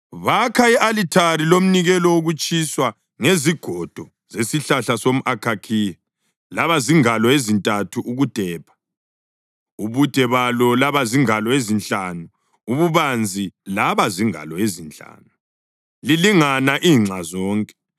Bakha i-alithari lomnikelo wokutshiswa ngezigodo zesihlahla somʼakhakhiya laba zingalo ezintathu ukudepha, ubude balo laba zingalo ezinhlanu, ububanzi laba zingalo ezinhlanu, lilingana inxa zonke.